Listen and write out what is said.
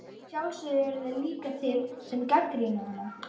Að sjálfsögðu eru þeir líka til sem gagnrýna hana.